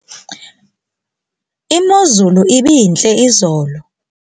imozulu ibintle izolo